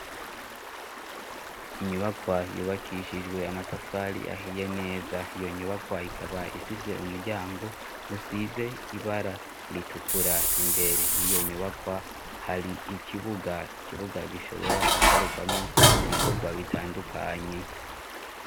Inyubakwa yubakishijwe amatafari ahiye neza iyo nyubakwa ikaba ifise umuryango usize ibara ritukura imbere. Iyo nyubakwa hari ikibuga kibuga gishobora gukorerwamo ibikorwa bitandukanye.